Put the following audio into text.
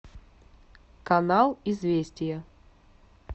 канал известия